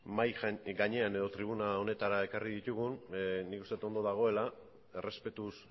mahai gainean edo tribuna honetara ekarri ditugun nik uste ondo dagoela errespetuz